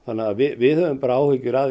við höfum áhyggjur af